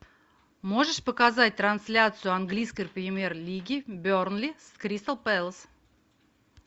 можешь показать трансляцию английской премьер лиги бернли с кристал пэлас